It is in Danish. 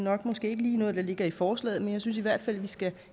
er måske ikke lige noget der ligger i forslaget men jeg synes i hvert fald at vi skal